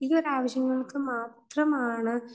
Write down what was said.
ഈയൊരു ആവശ്യങ്ങൾക്ക് മാത്രം ആണ്